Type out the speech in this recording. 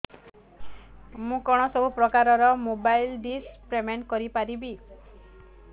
ମୁ କଣ ସବୁ ପ୍ରକାର ର ମୋବାଇଲ୍ ଡିସ୍ ର ପେମେଣ୍ଟ କରି ପାରିବି